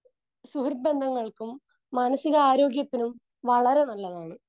Speaker 2 സുഹൃദ്ബന്ധങ്ങൾക്കും മനസികാരോഗ്യത്തിനും വളരെ നല്ലതാണ്.